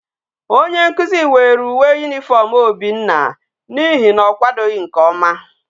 Onye nkuzu were uwe uniform obinna na ihe na okwadoghi nke oma